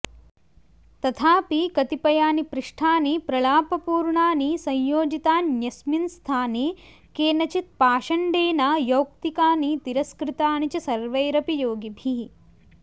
तथाऽपि कतिपयानि पृष्ठानि प्रलापपूर्णानि संयोजितान्यस्मिन् स्थाने केनचित् पाषण्डेनाऽयौक्तिकानि तिरस्कृतानि च सर्वैरपि योगिभिः